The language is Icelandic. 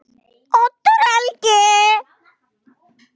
Oddur Helgi.